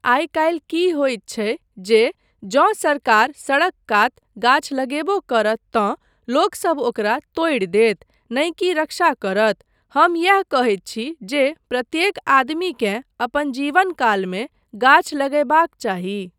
आइ काल्हि की होइत छै जे जँ सरकार सड़क कात गाछ लगेबो करत तँ लोकसब ओकरा तोड़ि देत नहि की रक्षा करत , हम यैह कहैत छी जे प्रत्येक आदमीकेँ अपन जीवनकालमे गाछ लगयबाक चाही।